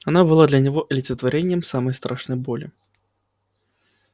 она была для него олицетворением самой страшной боли